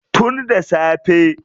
Tun da safe.